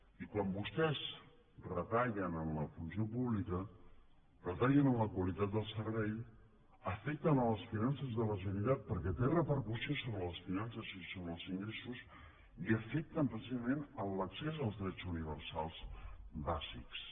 i quan vostès retallen en la funció pública retallen en la qualitat del servei afecten les finances de la generalitat perquè té repercussió sobre les finances i sobre els ingressos i afecten precisament l’accés als drets universals bàsics